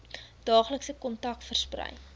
daaglikse kontak versprei